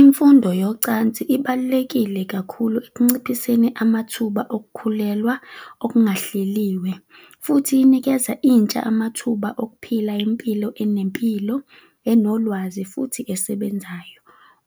Imfundo yocansi ibalulekile kakhulu ekunciphiseni amathuba ukukhulelwa okungahleliwe. Futhi inikeza intsha amathuba okuphila impilo anempilo, enolwazi futhi esebenzayo.